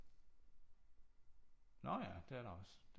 Nå ja det er der også